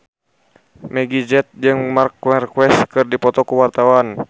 Meggie Z jeung Marc Marquez keur dipoto ku wartawan